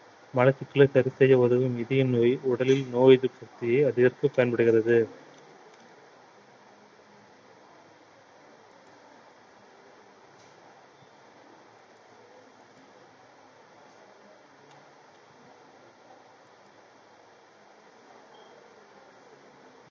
மலச்சிக்கலை சரி செய்ய உதவும் இதய நோய் உடலில் நோய் எதிர்ப்பு சக்தியை அதிகரிக்க பயன்படுகிறது